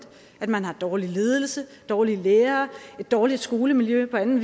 at man har dårlig ledelse dårlige lærere et dårligt skolemiljø og andet